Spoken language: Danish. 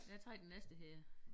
Jeg trækker den næste her